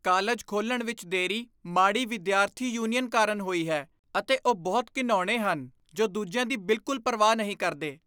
College ਖੋਲ੍ਹਣ ਵਿੱਚ ਦੇਰੀ ਮਾੜੀ ਵਿਦਿਆਰਥੀ ਯੂਨੀਅਨ ਕਾਰਨ ਹੋਈ ਹੈ ਅਤੇ ਉਹ ਬਹੁਤ ਘਿਣਾਉਣੇ ਹਨ ਜੋ ਦੂਜਿਆਂ ਦੀ ਬਿਲਕੁਲ ਪਰਵਾਹ ਨਹੀਂ ਕਰਦੇ।